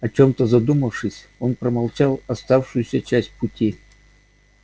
о чём-то задумавшись он промолчал оставшуюся часть пути